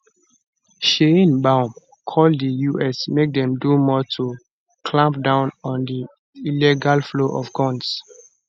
sheinbaum call di us make dem do more to clamp down on di illegal flow of guns